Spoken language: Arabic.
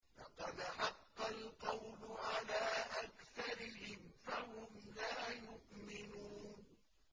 لَقَدْ حَقَّ الْقَوْلُ عَلَىٰ أَكْثَرِهِمْ فَهُمْ لَا يُؤْمِنُونَ